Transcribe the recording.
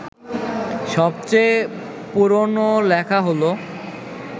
সবচেয়ে পুরনো লেখা হল